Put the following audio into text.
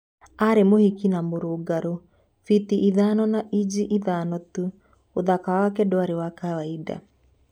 Ari mukuhi na murungaru, futi ithano na inji itano tu, uthaki wake dwari wa kawaida.